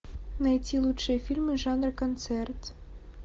найти лучшие фильмы жанра концерт